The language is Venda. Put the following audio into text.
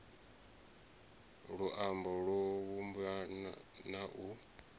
luambo lwo vhumbwa na u